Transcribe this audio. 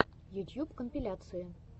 ютьюб компиляции